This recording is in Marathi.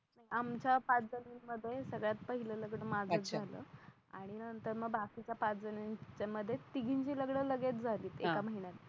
आमचा पाच जणींमध्ये सगळ्यात पाहिलं लग्न माझंच झाला आणि मग नंतर बाकीच्या पाच जणींमध्ये तिघींची लग्न लगेच झालीत एका महिन्यात